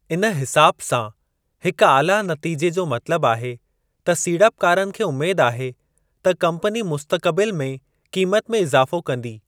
इन हिसाब सां हिक आला नतीजे जो मतिलबु आहे त सीड़पकारनि खे उमेद आहे त कम्पनी मुस्तक़बिलु में क़ीमत में इज़ाफ़ो कंदी।